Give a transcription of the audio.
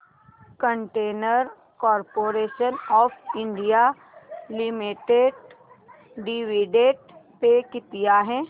container corporation of India limited dividend पे किती आहे